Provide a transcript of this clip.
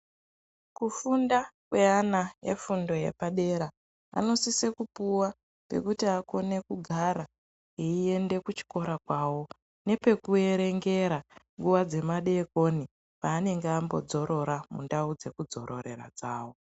Kufunda kwe ana efundo yepadera anosise kupuwa pekuti akone kugara eyi ende ku chikoro kwawo nepeku erengera nguva dzema dekoni panenge ambo dzorora mu ndau dzeku dzororera dzavo.